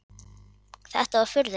Þetta var furðulegt.